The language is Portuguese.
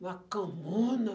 Uma camona.